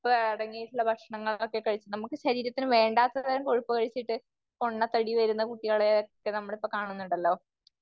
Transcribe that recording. കൊഴുപ്പ് അടങ്ങിയിട്ടുള്ള ഭക്ഷണങ്ങളൊക്കെ കഴിച്ചിട്ട് നമുക്ക് ശരീരത്തിന് വേണ്ടാത്ത തരം കൊഴുപ്പ് കഴിച്ചിട്ട് പൊണ്ണത്തടി വരുന്ന കുട്ടികളെ നമ്മള് ഇപ്പോ കാണുന്നുണ്ടല്ലോ.